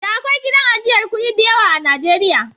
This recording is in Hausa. Da akwai gidan ajiyar kuɗi diyawa a Najeriya.